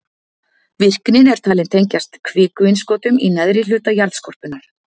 Virknin er talin tengjast kvikuinnskotum í neðri hluta jarðskorpunnar.